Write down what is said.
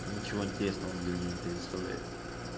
ничего интересного он для меня не предоставляет